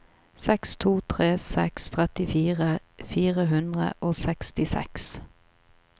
seks to tre seks trettifire fire hundre og sekstiseks